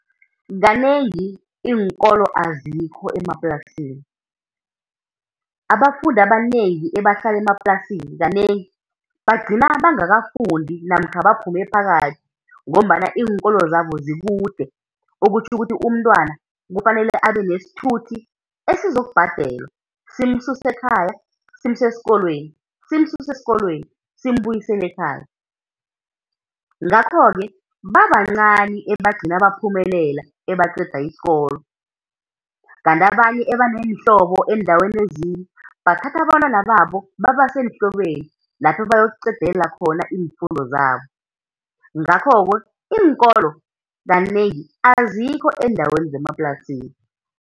Kanengi iinkolo azikho emaplasini, abafundi abanengi ebahlala emaplasini kanengi bagcina bangakafundi namkha baphume phakathi ngombana iinkolo zabao zikude, okutjho ukuthi umntwana kufanele abe nesithuthi esizokubhadelwa, simsuse ekhaya simuse esikolweni, simsuse esikolweni simbuyisele ekhaya. Ngakho-ke babancani ebagcine baphumelela, ebaqeda isikolo. Kanti abanye ebaneenhlobo eendaweni ezinye bathatha abantwana babo babase eenhlobeni lapha ebayokuqedelela khona iimfundo zabo, ngakho-ke iinkolo kanengi azikho eendaweni zemaplasini.